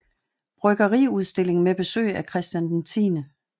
Bryggeriudstilling med besøg af Christian X